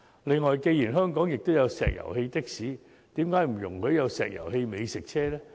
此外，既然香港也有石油氣的士，為何不也容許有石油氣美食車呢？